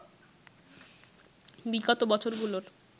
বিগত বছরগুলোর